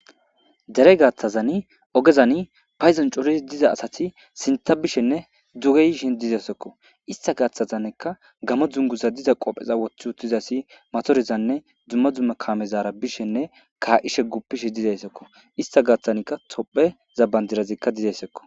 Dere gaaththazani ogezani payzancoris diza asati sinta bishenne duge yiishen dizeysakko ista gaaththazaneka gamo dzunguza diza qopheza wothi uttizasi matorizanne dzumma dzumma kamezaara bishenne kaa'ishe guppishe dizayssekko ista gaaththanikka tophe zabandirazikka dizayssekko.